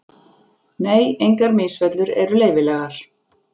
Nei, engar misfellur eru leyfilegar.